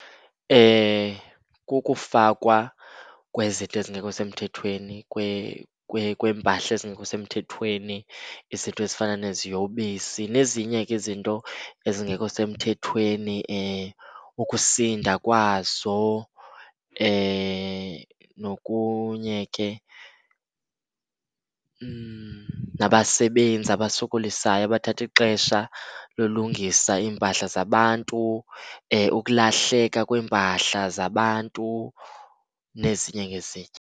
Kukufakwa kwezinto ezingekho semthethweni, kweempahla ezingekho semthethweni, izinto ezifana neziyobisi nezinye ke izinto ezingekho semthethweni. Ukusinda kwazo nokunye ke. Nabasebenzi abasokolisayo abathatha ixesha lolungisa iimpahla zabantu, ukulahleka kweempahla zabantu, nezinye nezinye